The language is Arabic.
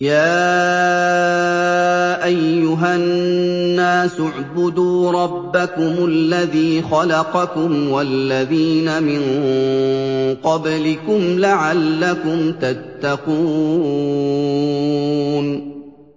يَا أَيُّهَا النَّاسُ اعْبُدُوا رَبَّكُمُ الَّذِي خَلَقَكُمْ وَالَّذِينَ مِن قَبْلِكُمْ لَعَلَّكُمْ تَتَّقُونَ